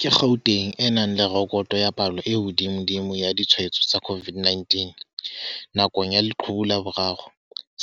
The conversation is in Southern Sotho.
Ka Gauteng e nang le rekoto ya palo e hodimodimo ya ditshwa etso tsa COVID-19 nakong ya leqhubu la boraro,